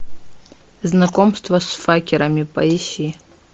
знакомство с факерами поищи